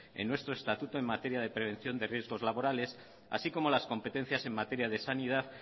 en nuestro estatuto en materia de prevención de riesgos laborales así como las competencias en materia de sanidad